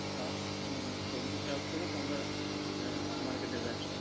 চাষ আহ সবজি চাষ করে তোমরা আহ market এ বেচো?